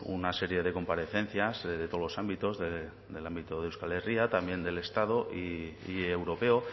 una serie de comparecencias de todos los ámbitos del ámbito de euskal herria también del estado y europeo